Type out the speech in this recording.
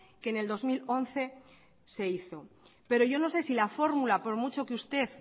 que en el dos mil once se hizo pero yo no sé si la fórmula por mucho que usted